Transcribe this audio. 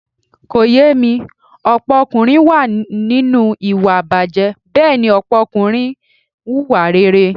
Kò yé mi, ọ̀pọ̀ ọkùnrin wà nínú ìwà ìbàjé, Bẹ́ẹ̀ni ọ̀pọ̀ ọkùnrin ń hùwà rere.